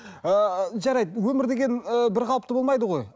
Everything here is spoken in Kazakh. ыыы жарайды өмір деген ы бірқалыпты болмайды ғой